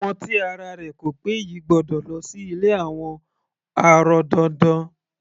Ọmọ tí ara rẹ̀ ko pé yìí gbọ́dọ̀ lọ sí ilé àwọn arọ dandan.